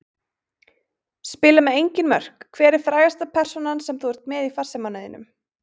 Spila með engin mörk Hver er frægasta persónan sem þú ert með í farsímanum þínum?